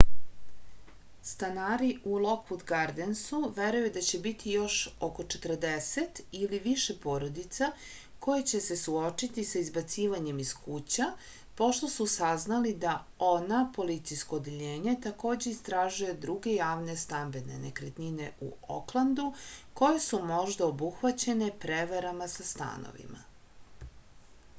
stanari u lokvud gardensu veruju da će biti još oko 40 ili više porodica koje će se suočiti sa izbacivanjem iz kuća pošto su saznali da oha policijsko odeljenje takođe istražuje druge javne stambene nekretnine u oklandu koje su možda obuhvaćene prevarama sa stanovima